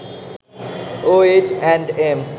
O H and M